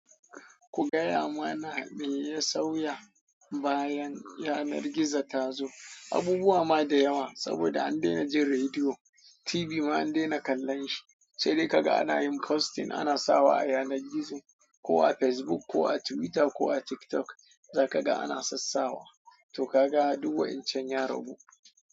Ku gaya mana me ya sauya bayan yanar gizo ta zo? Abubuwa ma da yawa, saboda an daina jin rediyo, TV ma an daina kallon shi. Sai dai kaga ana yin posting, ana sawa a yanar gizo ko a Facebook ko a Twitter ko a TikTok za ka ga ana sassawa. To ka ga du wa'incan yaragu.